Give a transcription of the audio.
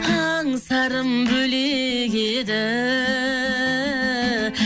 аңсарым бөлек еді